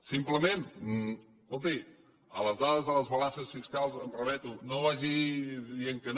simplement escolti a les dades de les balances fiscals em remeto no vagi dient que no